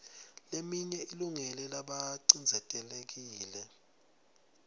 leminye ilungele labacindzetelekile